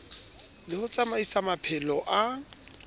le ho tsamaisa maphelo a